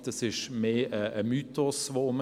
Hier geht ein Mythos um.